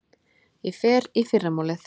Ég fer í fyrramálið.